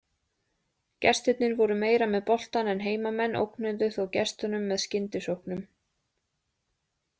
Gestirnir voru meira með boltann en heimamenn ógnuðu þó gestunum með skyndisóknum.